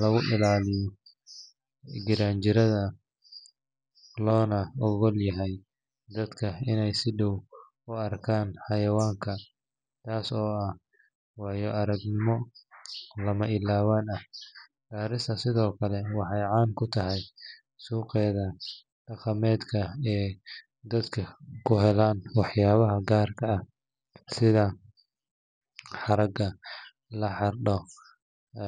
lagu ilaaliyo giraangiraha loona oggol yahay dadka inay si dhow u arkaan xayawaanka, taas oo ah waayo-aragnimo lama ilaawaan ah. Garissa sidoo kale waxay caan ku tahay suuqeeda dhaqameed ee dadku ku helaan waxyaabo gaar ah sida haragga la xardhay.